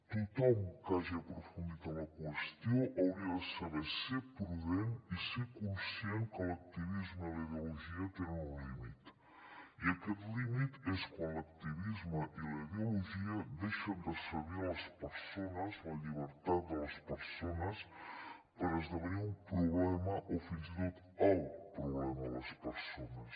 tothom que hagi aprofundit en la qüestió hauria de saber ser prudent i ser conscient que l’acti·visme i la ideologia tenen un límit i aquest límit és quan l’activisme i la ideologia deixen de servir les persones la llibertat de les persones per esdevenir un problema o fins i tot el problema de les persones